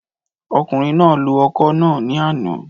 Ọkùnrin náà lo ọkọ̀ náà ní àná